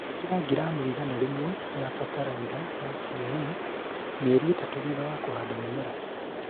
Īkĩra gramu igana rĩmwe ya faraitha ya CAN mĩeri ĩtatũ thutha wa kũhanda mĩmera